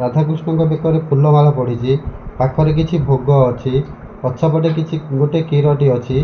ରାଧାକୃଷ୍ଣଙ୍କ ବେକରେ ଫୁଲମାଳ ପଡିଚି। ପାଖରେ କିଛି ଭୋଗ ଅଛି। ପଛପଟେ କିଛି ଗୋଟେ କ୍ଷୀରଟେ ଅଛି।